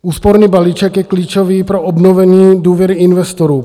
Úsporný balíček je klíčový pro obnovení důvěry investorů.